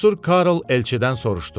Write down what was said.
Cəsur Karl elçidən soruşdu: